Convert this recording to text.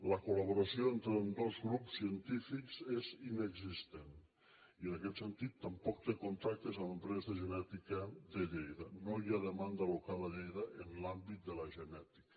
la col·laboració entre ambdós grups científics és inexistent i en aquest sentit tampoc té contactes amb empreses de genètica de lleida no hi ha demanda local a lleida en l’àmbit de la genètica